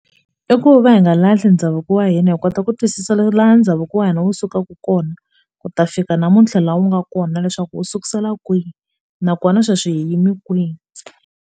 I ku va hi nga lahli ndhavuko wa hina hi kota ku twisisa laha ndhavuko wa hina wu sukaka kona ku ta fika namuntlha laha u nga kona leswaku u sukusela kwihi nakona sweswi hi yime kwihi.